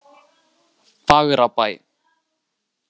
Fagrabæ